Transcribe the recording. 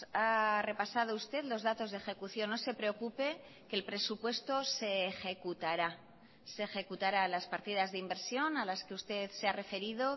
ha repasado usted los datos de ejecución no se preocupe que el presupuesto se ejecutará se ejecutará las partidas de inversión a las que usted se ha referido